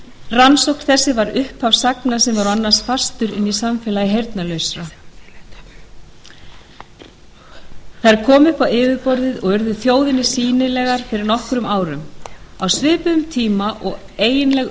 rannsókn þessi spratt af sögum sem voru annars fastar inni í samfélagi heyrnarlausra þær komu upp á yfirborðið og urðu þjóðinni sýnilegar fyrir nokkrum árum á svipuðum tíma og eiginleg